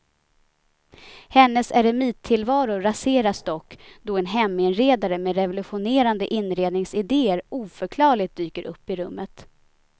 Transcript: Hennes eremittillvaro raseras dock då en heminredare med revolutionerande inredningsidéer oförklarligt dyker upp i rummet.